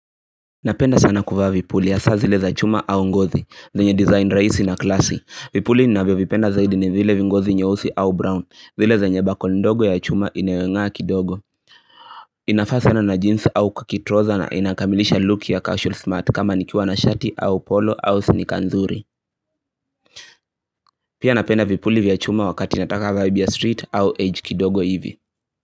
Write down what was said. Napenda sana kuvaa vipuli hasa zile za chuma au ngozi, zenye design rahisi na classy Vipuli ninavyovipenda zaidi ni zile vingozi nyeusi au brown, zile zenye buckle ndogo ya chuma inayongaa kidogo. Inafaa sana na jeans au kukitroza na inakamilisha look ya casual smart kama nikiwa na shati au polo au sneaker nzuri. Pia napenda vipuli vya chuma wakati nataka vibe ya street au edge kidogo hivi.